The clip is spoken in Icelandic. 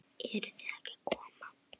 Eruð þið ekki að koma?